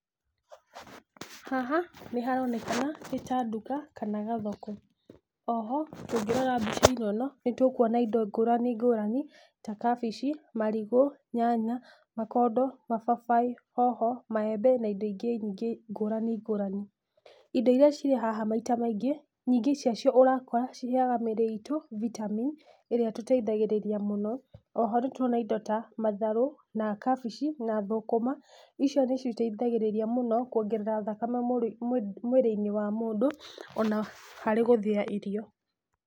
Haha nĩharonekana nĩ ta nduka kana gathoko, oho ũngĩrora mbica-inĩ ĩno nĩtũkũona indo ngũrani ngũrani ta kabici, marigũ, nyanya, makondo, mababaĩ, hoho, maembe na indo ingĩ nyingĩ ngũrani ngũrani. Indo iria cirĩ haha maita maingĩ, nyingĩ ciacio ũrakora ciheaga mĩrĩ itũ vitamini ĩrĩa ĩtũteithagĩrĩria mũno, oho nĩtũrora indo ta matharũ na kabici na thũkũma, icio nĩcio iteithagĩrĩria mũno kwongerera thakame mwĩrĩ-inĩ wa mũndũ ona harĩ gũthĩa irio.